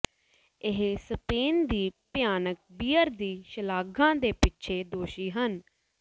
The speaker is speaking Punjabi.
ਇਹ ਸਪੇਨ ਦੀ ਭਿਆਨਕ ਬੀਅਰ ਦੀ ਸ਼ਲਾਘਾ ਦੇ ਪਿੱਛੇ ਦੋਸ਼ੀ ਹਨ